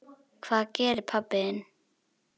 Hvað gerir pabbi þinn?